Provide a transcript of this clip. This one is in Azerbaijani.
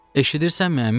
Eşidirsənmi əmi?